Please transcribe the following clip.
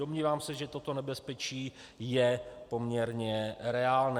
Domnívám se, že toto nebezpečí je poměrně reálné.